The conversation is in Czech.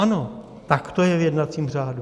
Ano, tak to je v jednacím řádu.